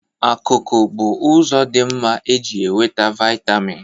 Akụkụ bụ ụzọ dị mma e ji enweta vịatamịn